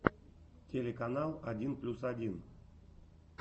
телеканал один плюс один